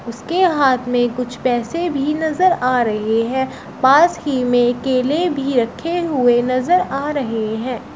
उसके हाथ में कुछ पैसे भी नजर आ रहे हैं पास ही में केले भी रखे हुए नजर आ रहे हैं।